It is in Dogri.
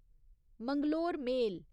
मैंगलोर मेल